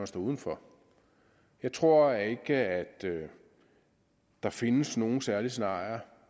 stod uden for jeg tror ikke at der findes nogle særlige scenarier